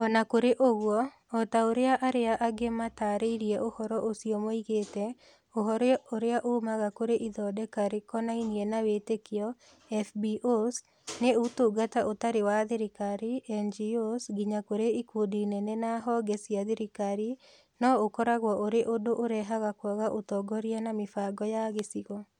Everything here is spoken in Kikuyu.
O na kũrĩ ũguo, o ta ũrĩa arĩa angĩ maatarĩirie ũhoro ũcio moigĩte, ũhoro ũrĩa uumaga kũrĩ Ithondeka Rĩkonainie na Wĩtĩkio (FBOs) naŨtungata Ũtarĩ wa Thirikari (NGOs) nginya kũrĩ ikundi nene na honge cia thirikari, no ũkoragwo ũrĩ ũndũ ũrehaga kwaga ũtongoria na mĩbango ya gĩcigo.